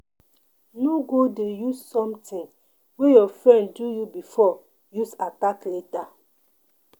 No go dey use something wey your friend do you before use attack later.